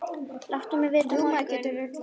Láttu mig vita á morgun.